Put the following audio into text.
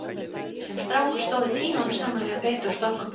Sem strákur stóð ég tímunum saman við að beita og stokka upp lóðir.